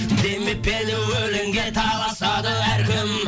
демеп пе еді өлеңге таласады әркім